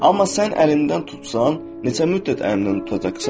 Amma sən əlimdən tutsan, neçə müddət əlimdən tutacaqsan?